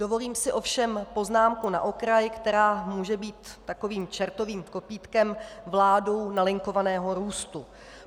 Dovolím si ovšem poznámku na okraj, která může být takovým čertovým kopýtkem vládou nalinkovaného růstu.